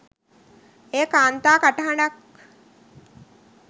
එය කාන්තා කටහඬක්